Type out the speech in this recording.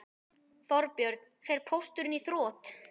Þorbjörn: Fer Pósturinn í þrot?